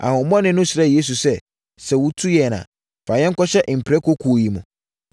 Ahonhommɔne no srɛɛ Yesu sɛ, “Sɛ wotu yɛn a, fa yɛn kɔhyɛ mprakokuo yi mu.”